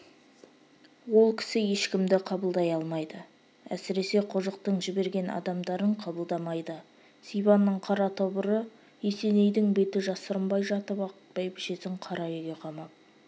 ол кісі ешкімді қабылдай алмайды әсіресе қожықтың жіберген адамдарын қабылдамайды сибанның қара тобыры есенейдің беті жасырынбай жатып-ақ бәйбішесін қара үйге қамап